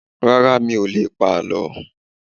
Rárá, mi ò lè pa àlọ́.